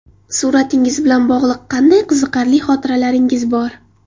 Suratingiz bilan bog‘liq qanday qiziqarli xotiralaringiz bor?